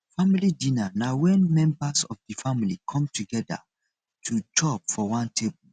family dinner na when members of di family come together to chop for one table